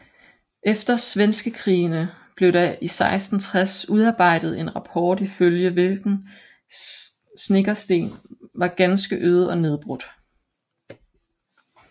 Efter svenskekrigene blev der i 1660 udarbejdet en rapport ifølge hvilken Snekkersten var ganske øde og nedbrudt